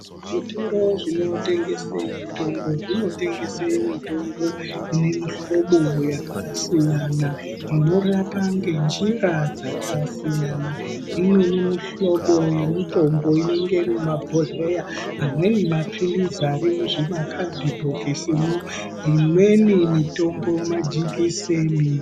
Zvitoro zvinotengese mitombo zvinotengese mitombo ine mihlobo yakasiyana inorapa ngenjira dzakasiyana .Imweni mihlobo yemitombo inenge iri mumabhohleya amweni mapilizi ari muzvimakandibhokisimwo , imweni mitombo majekiseni .